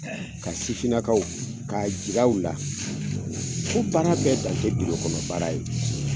Ka sifinakaw k'a jira u la k'a fɔ ko baara bɛ dan tɛ biro kɔnɔ baara ye.